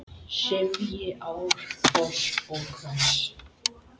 sifji árfoss og hvers!